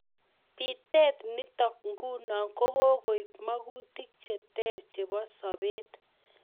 Pitet nitok nguno ko kokoip magutik cheter chebo sabet.